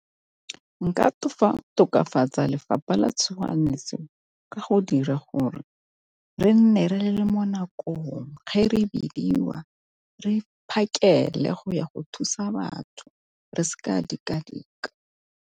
Nka tokafatsa lefapha la tshoganyetso ka go dira gore re nne re le mo nakong re bidiwa re phakele go ya go thusa batho re se ka ra dika-dika.